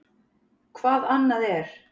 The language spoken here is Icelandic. Hvað annað er?